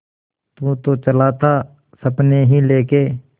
तू तो चला था सपने ही लेके